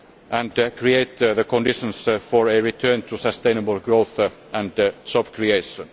and create the conditions for a return to sustainable growth and job creation.